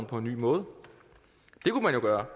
på en ny måde det kunne man jo gøre